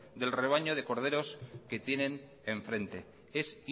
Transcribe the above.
del rebaño de corderos que tienen enfrente es